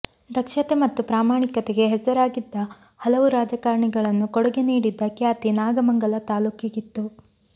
ದಕ್ಷತೆ ಮತ್ತು ಪ್ರಾಮಾಣಿಕತೆಗೆ ಹೆಸರಾಗಿದ್ದ ಹಲವು ರಾಜಕಾರಣಿಗಳನ್ನು ಕೊಡುಗೆ ನೀಡಿದ್ದ ಖ್ಯಾತಿ ನಾಗಮಂಗಲ ತಾಲೂಕಿಗಿತ್ತು